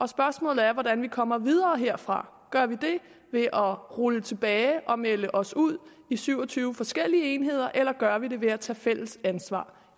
spørgsmålet er hvordan vi kommer videre herfra gør vi det ved at rulle tilbage og melde os ud i syv og tyve forskellige enheder eller gør vi det ved at tage fælles ansvar